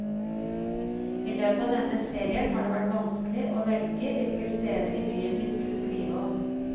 I løpet av denne serien har det vært vanskelig å velge hvilke steder i byen vi skulle skrive om.